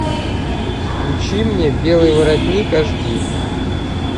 включи мне белый воротник аш ди